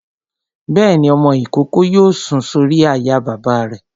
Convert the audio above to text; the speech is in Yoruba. Bẹ́ẹ̀ni, ọmọ-ìkókó yóò sùn sórí àyà bàbá rẹ̀